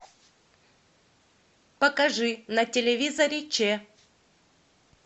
покажи на телевизоре ч